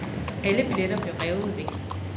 Alle billetter bliver revet væk.